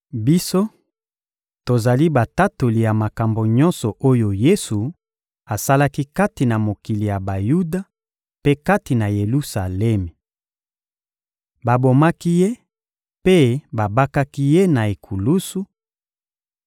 Biso, tozali batatoli ya makambo nyonso oyo Yesu asalaki kati na mokili ya Bayuda mpe kati na Yelusalemi. Babomaki Ye mpe babakaki Ye na ekulusu,